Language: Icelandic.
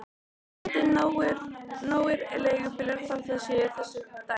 Vonandi nógir leigubílar þótt það sé þessi dagur.